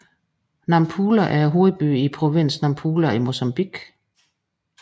Nampula er hovedbyen i provinsen Nampula i Mozambique